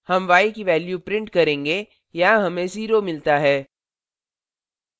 हम y की value print करेंगे यहां हमें 0 मिलता है